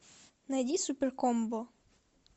найди суперкомбо